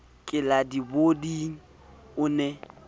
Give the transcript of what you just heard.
ke la dipoding o ne